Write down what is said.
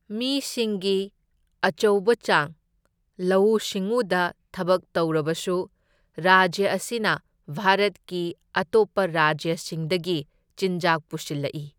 ꯃꯤꯁꯤꯡꯒꯤ ꯑꯆꯧꯕ ꯆꯥꯡ ꯂꯧꯎ ꯁꯤꯡꯎꯗ ꯊꯕꯛ ꯇꯧꯔꯕꯁꯨ, ꯔꯥꯖ꯭ꯌ ꯑꯁꯤꯅ ꯚꯥꯔꯠꯀꯤ ꯑꯇꯣꯞꯄ ꯔꯥꯖ꯭ꯌꯁꯤꯡꯗꯒꯤ ꯆꯤꯟꯖꯥꯛ ꯄꯨꯁꯤꯜꯂꯛꯏ꯫